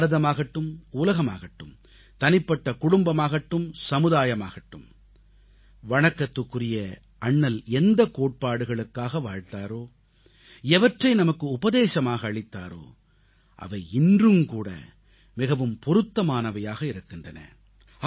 அது பாரதமாகட்டும் உலகமாகட்டும் தனிப்பட்ட குடும்பமாகட்டும் சமுதாயமாகட்டும் வணக்கத்திற்குரிய அண்ணல் எந்தக் கோட்பாடுகளுக்காக வாழ்ந்தாரோ எவற்றை நமக்கு உபதேசமாக அளித்தாரோ அவை இன்றும்கூட மிகவும் பொருத்தமானவையாக இருக்கின்றன